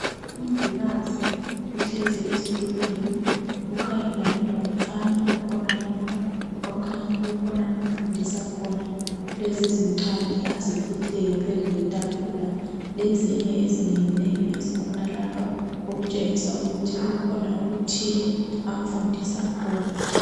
Umongikazi uhlezi esitulweni ukhangelane lomfana okhonalapha, okhanya kukhona amfundisa khona kulezi zincwadi aziphetheyo phezu kwetafula, lezinye ezinengi nengi ezikhonalapha. Okutshengisa ukuthi kukhona okuthile amfundisa khona.